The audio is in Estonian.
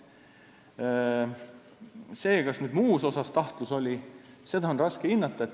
Seda, kas muus mõttes oli tahtlus, on raske hinnata.